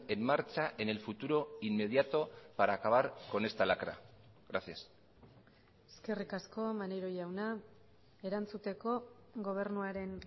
en marcha en el futuro inmediato para acabar con esta lacra gracias eskerrik asko maneiro jauna erantzuteko gobernuaren